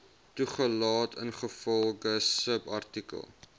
toegelaat ingevolge subartikel